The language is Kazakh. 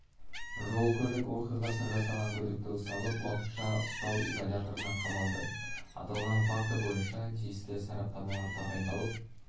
жол көлік оқиғасын жасаған күдікті ұсталып уақытша ұстау изоляторына қамалды аталған факті бойынша тиісті сараптамалар тағайындалып